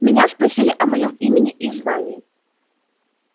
меня спросили о моём имени и звании